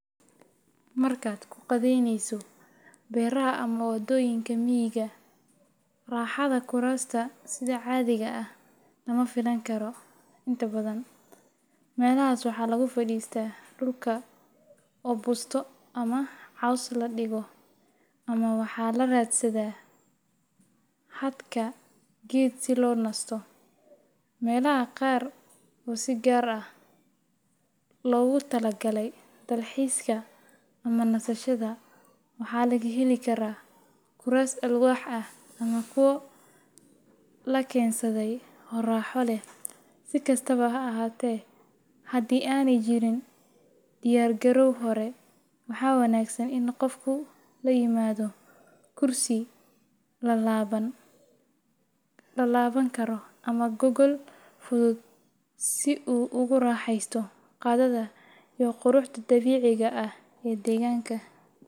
Marka ku qadheyneso beeraha ama wadoyinka miga ah raxaada kurasta cadiga ah lama filan karo inta badan melahas waxaa lagu fadista dulka oo busto ama cos ladigo ama waxaa la radsada hadka geed se lonisto, melaha qar oo si gaar ah logu talagale dalxiska ama nasashada, maxaa laga heli karaa alwax lakensade oo raxa leh sikastawa ha ahate hadii ana jirin diyar garow hore maxaa wanagsan in qofku u imadho kursi lalawan karo ama gogol fuduud si u ugu raxesto qadada iyo quruxda dabiciga ah ee deganka.